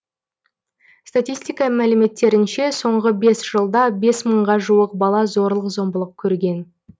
статистика мәліметтерінше соңғы бес жылда бес мыңға жуық бала зорлық зомбылық көрген